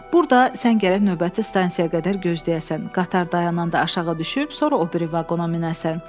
Burada sən gərək növbəti stansiyaya qədər gözləyəsən, qatar dayananda aşağı düşüb, sonra o biri vaqona minəsən.